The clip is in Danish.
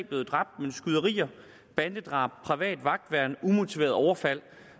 blevet dræbt men skyderier bandedrab private vagtværn umotiverede overfald